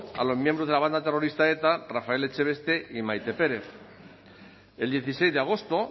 a los miembros de la banda terrorista eta rafael echeveste y maite pérez el dieciséis de agosto